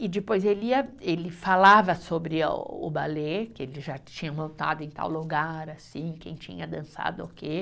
E depois ele ia, ele falava sobre a o balé, que ele já tinha montado em tal lugar, assim, quem tinha dançado o quê.